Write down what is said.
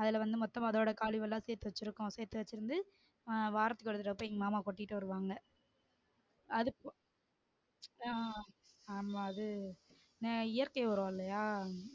அதுல வந்து மொத்தமா அதோட கழிவு எல்லாம் சேர்த்து வச்சு இருக்கோம் சேர்த்து வச்சிருந்து ஆஹ் வாரத்துக்கு ஒரு தடவ போயி எங்க மாமா கொட்டிட்டு வருவாங்க அடுத்து ஆஹ் ஆமாம் அது உம் இயற்கை உரலாம் இல்லையா